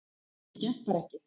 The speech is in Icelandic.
Þetta gekk bara ekki